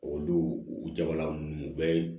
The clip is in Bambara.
Olu u jabaranin u bɛɛ ye